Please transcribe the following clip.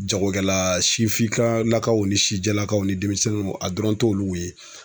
Jagokɛla sifinka lakaw ni sijɛlakaw ni denmisɛnnunw a dɔrɔn t'olu ye